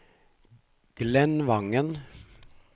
Glenn Vangen